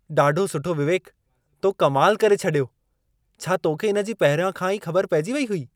ॾाढो सुठो विवेक! तो कमाल करे छॾियो। छा तोखे इन जी पहिरियों खां ई ख़बर पइजी वई हुई?